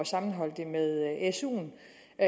sammenholde det med suen